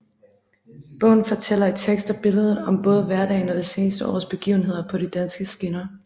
Bogen fortæller i tekst og billeder om både hverdagen og det seneste års begivenheder på de danske skinner